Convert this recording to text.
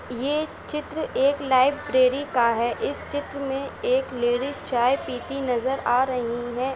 ये चित्र एक लाइब्रेरी का है इस चित्र में एक लेडी चाय पीती नजर आ रही है।